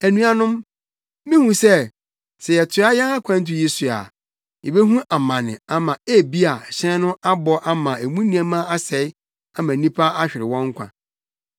“Anuanom, mihu sɛ, sɛ yɛtoa yɛn akwantu yi so a, yebehu amane ama ebia hyɛn no abɔ ama emu nneɛma asɛe ama nnipa ahwere wɔn nkwa.”